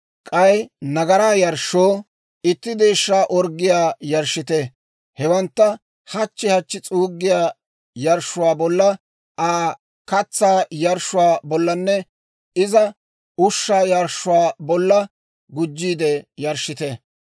K'ay nagaraa yarshshoo itti deeshshaa orggiyaa yarshshite. Hewantta hachchi hachchi s'uuggiyaa yarshshuwaa bolla, Aa katsaa yarshshuwaa bollanne iza ushshaa yarshshuwaa bolla gujjiide yarshshite.